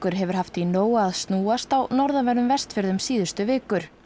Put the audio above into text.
hefur haft í nógu að snúast á norðanverðum Vestfjörðum síðustu vikur